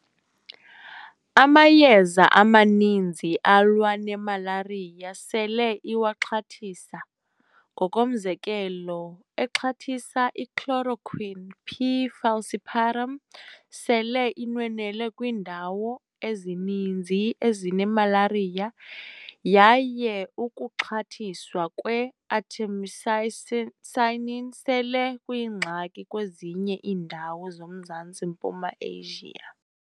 Amayeza amaninzi alwa nemalariya sele iwaxhathisa, ngokomzekelo, exhathisa ichloroquine "P. falciparum" sele inwenwele kwiindawo ezininzi ezinemalariya, yaye ukuxhathiswa kwe-artemisinin sele kuyingxaki kwezinye iindawo zoMzantsi-mpuma Asia.